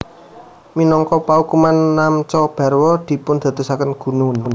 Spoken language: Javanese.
Minangka paukuman Namcha Barwa dipundadosaken gunung